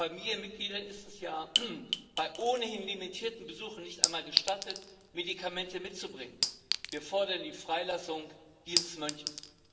Familienmitgliedern ist es ja bei ohnehin limitierten Besuchen nicht einmal gestattet, Medikamente mitzubringen. Wir fordern die Freilassung dieses Mönches!